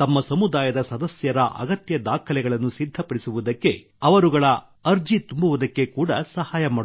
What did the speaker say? ತಮ್ಮ ಸಮುದಾಯದ ಸದಸ್ಯರ ಅಗತ್ಯ ದಾಖಲೆಗಳನ್ನು ಸಿದ್ಧಪಡಿಸುವುದಕ್ಕೆ ಅವರುಗಳ ಅರ್ಜಿ ತುಂಬುವುದಕ್ಕೆ ಕೂಡಾ ಸಹಾಯ ಮಾಡುತ್ತಾರೆ